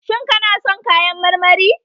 Shin kana son kayan marmari?